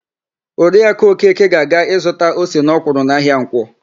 Oriakụ Okeke ga-aga ịzụta ose na ọkwụrụ n'ahịa Nkwọ.